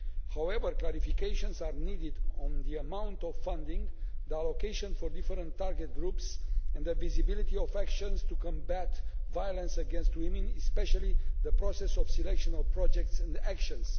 However, clarifications are needed on the amount of funding, the allocation for different target groups and the visibility of actions to combat violence against women, especially the process of selection of projects and actions.